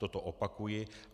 Toto opakuji.